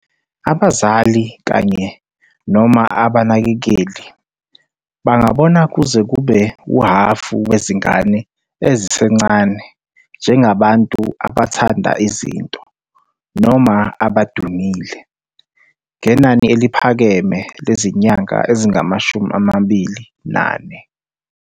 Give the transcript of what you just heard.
Abazali kanye, noma abanakekeli bangabona kuze kube uhhafu wezingane ezisencane njengabantu "abathanda izinto" noma "abadumile", ngenani eliphakeme lezinyanga ezingama-24.